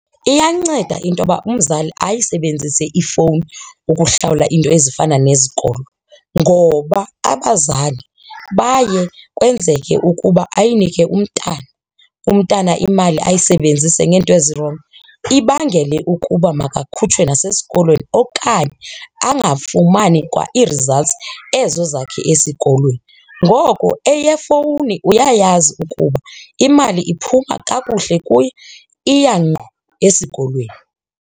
Iyanceda into yoba umzali ayisebenzise ifowuni ukuhlawula iinto ezifana nezikolo ngoba abazali baye kwenzeke ukuba ayinike umntana, umntana imali ayisebenzise ngeento ezirongo. Ibangele ukuba makakhutshwe nasesikolweni okanye angafumani kwa ii-results ezo zakhe esikolweni. Ngoko eyefowuni uyayazi ukuba imali iphuma kakuhle kuye iya ngqo esikolweni.